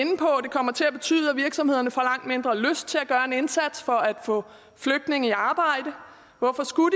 kommer til at betyde at virksomhederne får langt mindre lyst til at gøre en indsats for at få flygtninge i arbejde hvorfor skulle